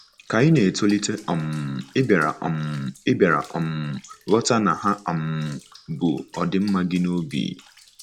Ka ị na-etolite, um ị bịara um ị bịara um ghọta na ha um bu ọdịmma gị n'obi.